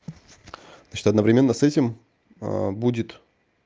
значит одновременно с этим а будет